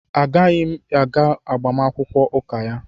A ga-yim aga agbamakwụkwọ ụka ya.